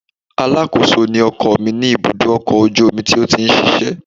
Alákòóso ni ọkọ mi ní ibùdó ọkọ̀ ojú omi tó ti ń ṣiṣẹ́